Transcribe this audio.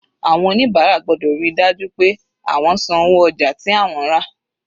Àwọn oníbàárà gbọ́dọ̀ ríi dájú pé àwọn san owó ojà tí àwọn rà.